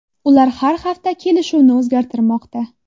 Ular har hafta kelishuvni o‘zgartirmoqda.